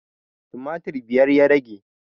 Tumatir biyar ya rage